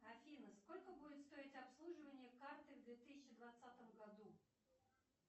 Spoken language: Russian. афина сколько будет стоить обслуживание карты в две тысячи двадцатом году